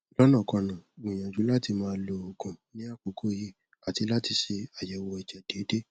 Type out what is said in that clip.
lọnàkọnà gbìyànjú láti má lo òògùn ní àkókò yìí àti láti ṣe àyẹwò ẹjẹ déédéé